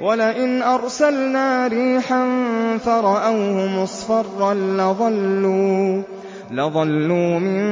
وَلَئِنْ أَرْسَلْنَا رِيحًا فَرَأَوْهُ مُصْفَرًّا لَّظَلُّوا مِن